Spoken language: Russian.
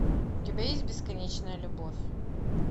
у тебя есть бесконечная любовь